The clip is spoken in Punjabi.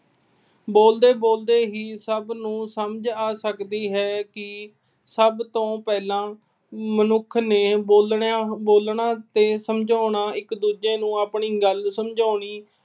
ਬੋਲਦੇ-ਬੋਲਦੇ ਹੀ ਸਭ ਨੂੰ ਸਮਝ ਆ ਸਕਦੀ ਹੈ ਕਿ ਸਭ ਤੋਂ ਪਹਿਲਾਂ ਮਨੁੱਖ ਨੇ ਬੋਲਣਾ ਅਹ ਬੋਲਣਾ ਤੇ ਸਮਝਾਉਣਾ, ਇੱਕ-ਦੂਜੇ ਨੂੰ ਆਪਣੀ ਗੱਲ ਸਮਝਾਉਣੀ